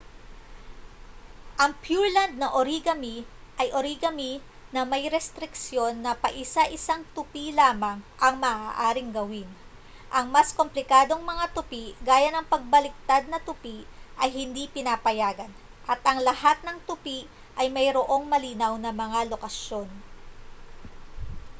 ang pureland na origami ay origami na may restriksyon na paisa-isang tupi lamang ang maaaring gawin ang mas komplikadong mga tupi gaya ng pabaliktad na tupi ay hindi pinapayagan at ang lahat ng tupi ay mayroong malinaw na mga lokasyon